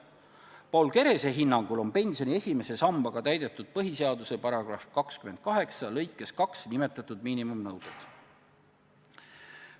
Paul Kerese hinnangul on pensioni esimese sambaga täidetud põhiseaduse § 28 lõikes 2 nimetatud miinimumnõuded.